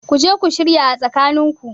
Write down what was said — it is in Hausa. Kuje ku shirya a tsakanin ku